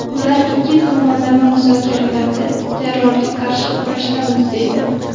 Ular ikki tomonlama muzokaralarda terrorga qarshi kurashdamiz deydi.